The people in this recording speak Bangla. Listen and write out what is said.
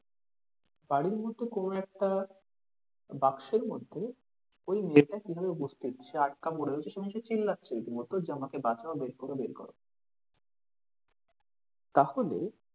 বাড়ির মধ্যে কোনো একটা বাক্সের মধ্যে ওই মেয়েটা কিভাবে উপস্থিত সে আটক পড়ে রয়েছে সে চিল্লাচ্ছে রীতিমত যে আমাকে বাঁচাও বের করো বের করো। তাহলে,